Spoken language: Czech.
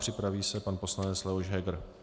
Připraví se pan poslanec Leoš Heger.